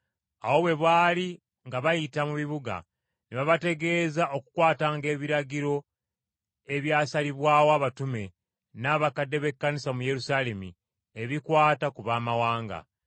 Awo bwe baali nga bayita mu bibuga ne babategeeza okukwatanga ebiragiro ebyasalibwawo abatume n’abakadde b’Ekkanisa mu Yerusaalemi ebikwata ku baamawanga.